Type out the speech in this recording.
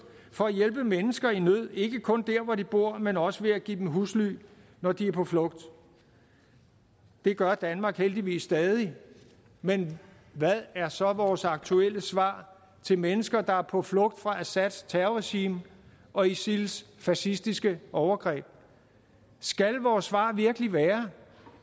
for at hjælpe mennesker i nød ikke kun der hvor de bor men også ved at give dem husly når de er på flugt det gør danmark heldigvis stadig men hvad er så vores aktuelle svar til mennesker der er på flugt fra assads terrorregime og isils fascistiske overgreb skal vores svar virkelig være